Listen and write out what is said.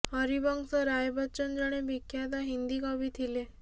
ହରିବଂଶ ରାୟ ବଚ୍ଚନ ଜଣେ ବିଖ୍ୟାତ ହିନ୍ଦୀ କବି ଥିଲେ